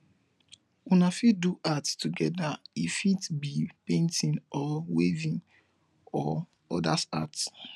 una fit do art together e fit be painting or weaving or oda art